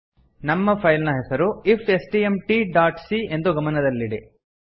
ನಮ್ಮ ಫೈಲ್ ನ ಹೆಸರು F S T M T dot c ಎಂದು ಗಮದಲ್ಲಿಡಿ